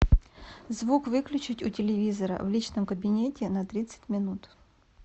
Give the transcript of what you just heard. звук выключить у телевизора в личном кабинете на тридцать минут